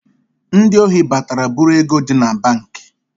Ndị ohi batara bụ̣rụ ego di na banki